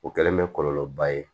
O kɛlen bɛ kɔlɔlɔba ye